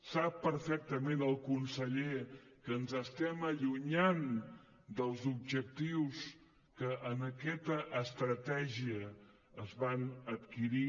sap perfectament el conseller que ens estem allunyant dels objectius que en aquesta estratègia es van adquirir